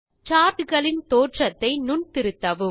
chart களின் தோற்றத்தை நுண் திருத்தவும்